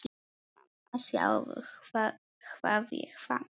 Mamma sjáðu hvað ég fann!